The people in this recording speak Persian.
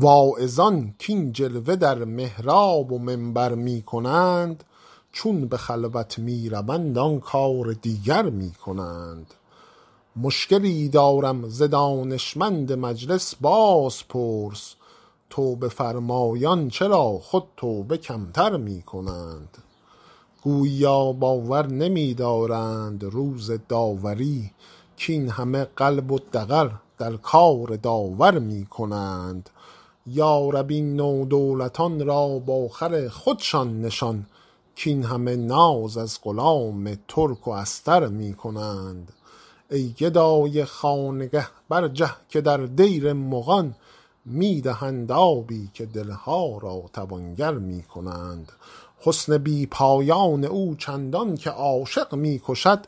واعظان کاین جلوه در محراب و منبر می کنند چون به خلوت می روند آن کار دیگر می کنند مشکلی دارم ز دانشمند مجلس بازپرس توبه فرمایان چرا خود توبه کم تر می کنند گوییا باور نمی دارند روز داوری کاین همه قلب و دغل در کار داور می کنند یا رب این نودولتان را با خر خودشان نشان کاین همه ناز از غلام ترک و استر می کنند ای گدای خانقه برجه که در دیر مغان می دهند آبی و دل ها را توانگر می کنند حسن بی پایان او چندان که عاشق می کشد